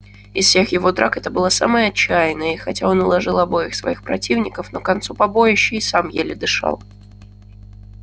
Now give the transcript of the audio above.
из всех его драк это была самая отчаянная и хотя он уложил обоих своих противников но к концу побоища и сам еле дышал